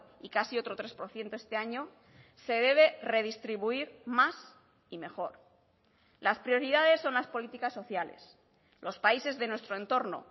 y casi otro tres por ciento este año se debe redistribuir más y mejor las prioridades son las políticas sociales los países de nuestro entorno